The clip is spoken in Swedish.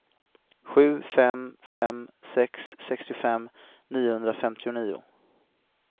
sju fem fem sex sextiofem niohundrafemtionio